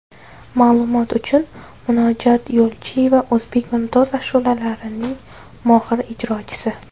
Ma’lumot uchun, Munojot Yo‘lchiyeva o‘zbek mumtoz ashulalarining mohir ijrochisi.